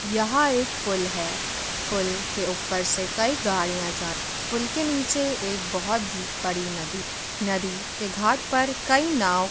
यह एक पुल है पुल के ऊपर से कई गाड़ियाँ जा रही हैं पुल के नीचे एक बहुत ही बड़ी नदी है नदी के घाट पर कई नाव --